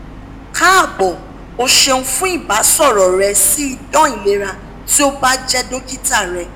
kaabo o seun fun olbasoro re si idan ilera ti o ba je dokita re